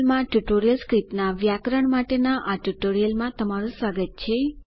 ક્ટર્ટલ માં ટર્ટલસ્ક્રિપ્ટ ના વ્યાકરણ માટેના આ ટ્યુટોરીયલમાં તમારું સ્વાગત છે